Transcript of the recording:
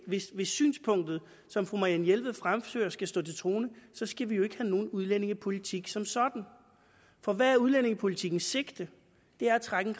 hvis synspunktet som fru marianne jelved fremfører skal stå til troende skal vi jo ikke have nogen udlændingepolitik som sådan for hvad er udlændingepolitikkens sigte det er at trække